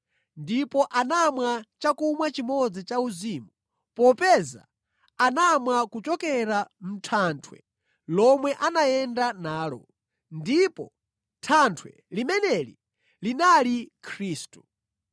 ndipo anamwa chakumwa chimodzi chauzimu; popeza anamwa kuchokera mʼthanthwe lomwe anayenda nalo, ndipo thanthwe limeneli linali Khristu.